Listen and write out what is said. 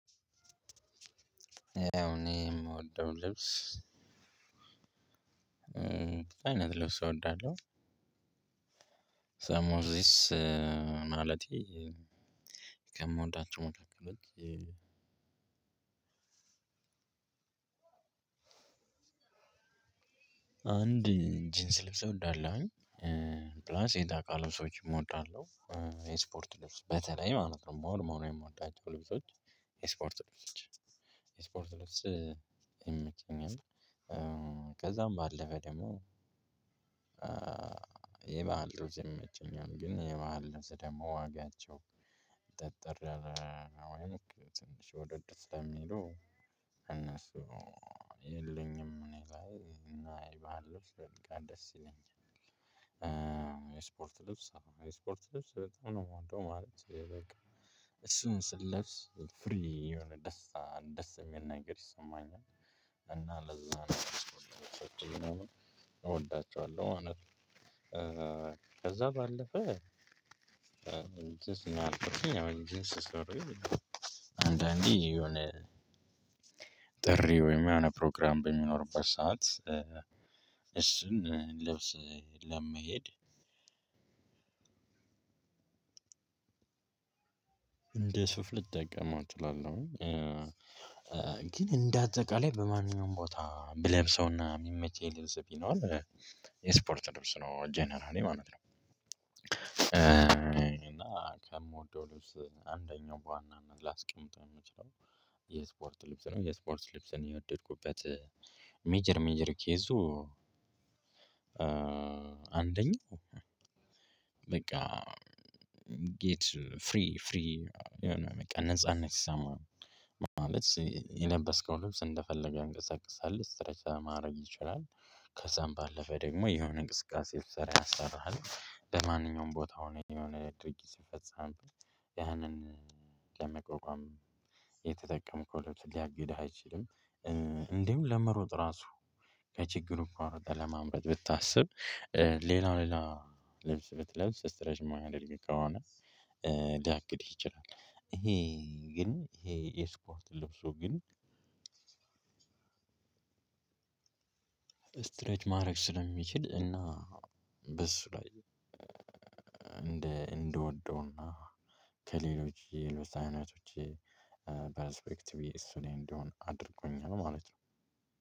ያው እኔ የምወደው ልብስ አይነት ልብስ እወዳለሁ። ሰሞኑ ዚስ ማለቴ ከምወዳቸው መካከል አንድ ጂንስ ልብስ እወዳለሁኝ ፕላስ ኤንጣቃ ልብሶችንም እወዳለሁኝ። የስፖርት ልብስ በተለይ ማለት ነው ሞር ሞር የምወዳቸው ልብሶች ስፖርት ልብሶች ስፖርት ልብስ ይመቸኛል። ከዛም ባለፈ ደግሞ የባህል ልብስ ይመቸኛል። ግን የባህል ልብስ ደግሞ ዋጋቸው ጠጠር ያለ ወይም ትንሽ ወደድ ስለሚሉ እነሱ የሉኝም እኔ ግን። የባህል ልብስ በጣም ደስ ይለኛል። የስፖርት ልብስ የስፖርት ልብስ በጣም ነው የምወደው ማለት በቃ እሱን ስለብስ ፍሪ የሆነ ደስታ ደስ የሚል ነገር ይሰማኛል። እና ለዛ ነው የስፖርት ልብሶችን እወዳቸዋለሁ ማለት ነው ከዛ ባለፈ እቺኛዋን ጂንስ ሱሪ አንዳንዴ የሆነ ጥሪ ወይም የሆነ ፕሮግራም በሚኖርበት ሰዓት እሱን ልብስ ለመሄድ እንደ ሱፍ ልጠቀመው እችላለሁ ግን እንዳጠቃለይ በማንኛውም ቦታ ብለብሰውና የሚመቸኝ ለብስ ቢኖር የስፖርት ልብስ ነው ጀነራሊ ማለት ነው። እና ከምወደው ልብስ አንደኛው በዋናነት ላስቀምጠው የምችለው የስፖርት ልብስ ነው። የስፖርት ልብስን የወደድኩበት ሜጀር ሜጀር ኬዝ አንደኛ በቃ ጌት ፍሪ ፍሪ የሆነ በቃ ነጻነት ሲሰማ ማለት የለበስከው ልብስ እንደፈለገ ያንቀሳቅስሃል ስትሬች ለማድረግ ይችላል። ከዛም ባለፈ ደግሞ የሆነ እንቅስቃሴ ብትስራ ያሰራሃል። ለማንኛውም ቦታ ሆነ የትኛውንም አይነት ድርጊት ስፈጸም ያንን ለመቋቋም የተጠቀምከው ልብስ ሊያግድህ አይችልም። እንዲሁም ለመሮጥ ራሱ ከችግሩ እንኳን ሮጠ ለማምለጥ ብታስብ ሌላ ሌላ ልብስ ብትለብስ ስትረች የማያደርግ ከሆነ ሊያግድህ ይችላል። ይሄ ግን ይሄ የስፖርት ልብሱ ግን ስትሬች ማድረግ ስለሚችል እና በሱ ላይ እንደ እንድወደውና ከሌሎች የልብስ አይነቶች ፐርስፔክቲቬ እሱ ላይ እንዲሆን አድርጎኛል ማለት ነው።